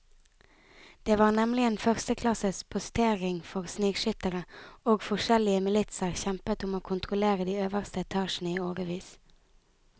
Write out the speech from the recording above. Det var nemlig en førsteklasses postering for snikskyttere, og forskjellige militser kjempet om å kontrollere de øverste etasjene i årevis.